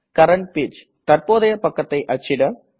current page தற்போதய பக்கத்தை அச்சிட